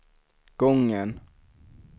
gången